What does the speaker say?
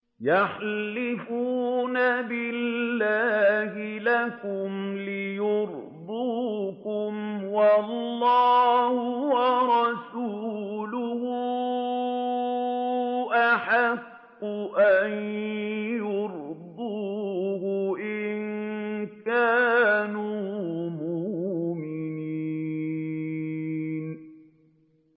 يَحْلِفُونَ بِاللَّهِ لَكُمْ لِيُرْضُوكُمْ وَاللَّهُ وَرَسُولُهُ أَحَقُّ أَن يُرْضُوهُ إِن كَانُوا مُؤْمِنِينَ